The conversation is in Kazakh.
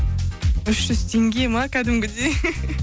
үш жүз теңге ме кәдімгідей